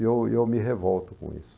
E eu e eu me revolto com isso.